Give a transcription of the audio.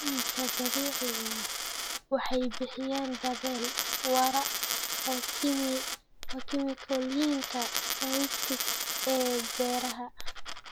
Alaabooyinka dabiiciga ah waxay bixiyaan beddel waara oo kiimikooyinka synthetic ee beeraha.